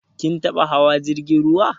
Kin taɓa hawa jirgin ruwa?